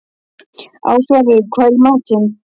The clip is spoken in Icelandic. Ásvarður, hvað er í matinn?